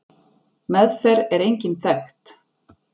Meðferð er engin þekkt.